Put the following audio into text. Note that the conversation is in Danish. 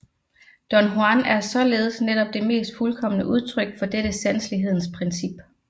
Don Juan er således netop det mest fuldkomne udtryk for dette sanselighedens princip